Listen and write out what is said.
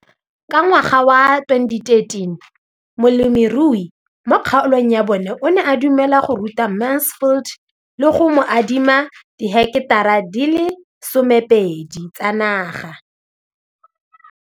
Ka ngwaga wa 2013, molemirui mo kgaolong ya bona o ne a dumela go ruta Mansfield le go mo adima di heketara di le 12 tsa naga.